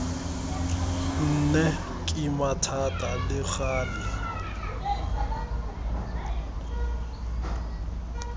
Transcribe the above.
nne kima thata le gale